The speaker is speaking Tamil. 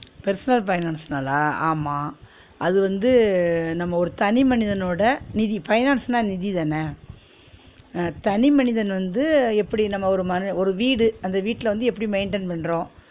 Personal finance னாலா ஆமா அது வந்து நம்ம ஒரு தனிமனிதனோட நிதி finance ன்னா நிதி தான அஹ் தனிமனிதன் வந்து எப்டி நம்ம ஒரு மன ஒரு வீடு அந்த வீட்ல எப்டி maintain பண்றோம்